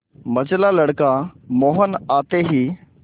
मंझला लड़का मोहन आते ही